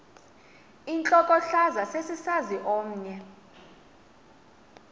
intlokohlaza sesisaz omny